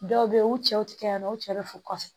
Dɔw bɛ yen u cɛw tɛ kɛ yan nɔ u cɛ bɛ fɔ kɔfɛ